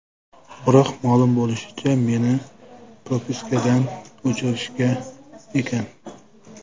Biroq, ma’lum bo‘lishicha, meni propiskadan o‘chirishgan ekan.